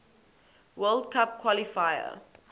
world cup qualifier